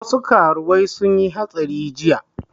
Wasu karuwai sun yi hatsari jiya